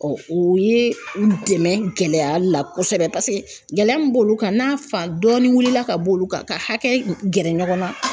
o ye u dɛmɛ gɛlɛya la kosɛbɛ paseke gɛlɛya min b'olu kan n'a fan dɔɔni wulila ka bɔ olu kan ka hakɛ gɛrɛ ɲɔgɔn na